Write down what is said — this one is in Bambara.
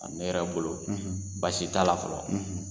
ne yɛrɛ bolo baasi t'a la fɔlɔ.